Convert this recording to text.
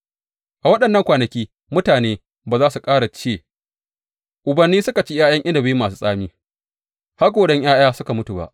A waɗannan kwanaki mutane ba za su ƙara ce, Ubanni suka ci ’ya’yan inabi masu tsami, haƙoran ’ya’ya suka mutu ba.’